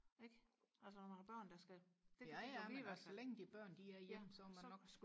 ikke altså når man har børn der skal ja så